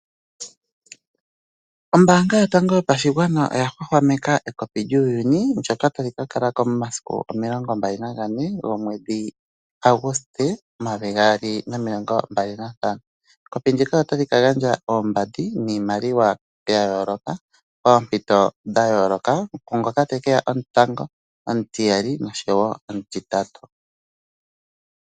Ombaanga yotango yopashigwana oya hwahwameka ekopi lyuuyuni ndoka tali kalalako momasiku 24 gaAguste 2025 . Ekopi ndika otali ka gandja oombandi niimaliwa yayooloka oompito dhayooloka ku ngoka tekeya omutango , omutiyali osho wo omutitatu.